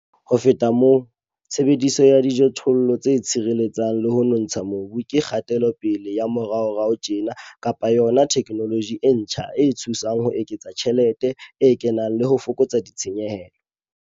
Ho feta mona, tshebediso ya dijothollo tse tshireletsang le ho nontsha mobu ke kgatelopele ya moraorao tjena kapa yona theknoloji e ntjha e thusang ho eketsa tjhelete e kenang le ho fokotsa ditshenyehelo.